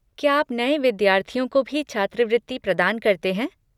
क्या आप नये विद्यार्थियों को भी छात्रवृत्ति प्रदान करते हैं?